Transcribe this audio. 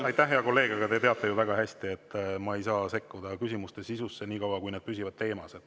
Aitäh, hea kolleeg, aga te teate ju väga hästi, et ma ei saa sekkuda küsimuste sisusse, niikaua kui need püsivad teemas.